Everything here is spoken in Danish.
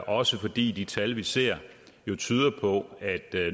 også fordi de tal vi ser jo tyder på at